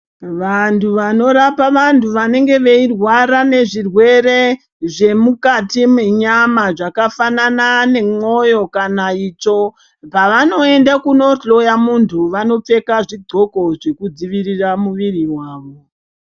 Vantu vanorapa vantu vanenge veirwara nezvirwere zvemukati menyama zvakafanana nemwoyo kana itsvo, pavanoende kunohloya muntu vanopfeka zvidxoko zvekudzivirira muviri wavo.